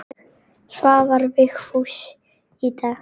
Svarar Vigfús í dag?